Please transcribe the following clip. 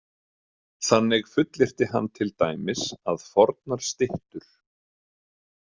Þannig fullyrti hann til dæmis að fornar styttur.